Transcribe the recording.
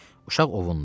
Uşaq ovundu.